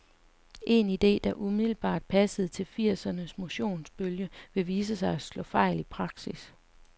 En ide, der umiddelbart passede til firsernes motionsbølge, men viste sig at slå fejl i praksis.